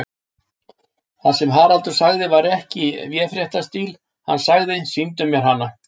Það sem Haraldur sagði var ekki í véfréttarstíl, hann sagði: Sýndu mér hana.